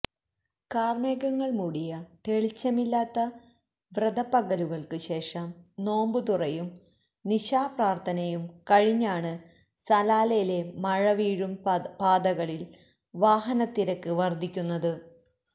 കാര്മേഘങ്ങള് മൂടിയ തെളിച്ചമില്ലാത്ത വ്രതപ്പകലുകള്ക്ക് ശേഷം നോമ്പ് തുറയും നിശാപ്രാര്ഥനയും കഴിഞ്ഞാണ് സലാലയിലെ മഴ വീഴും പാതകളില് വാഹനത്തിരക്ക് വര്ധിക്കുന്നത്